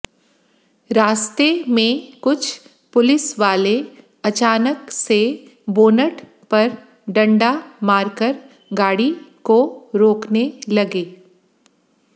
रास्ते में कुछ पुलिस वाले अचानक से बोनट पर डंडा मारकर गाड़ी को रोकने लगे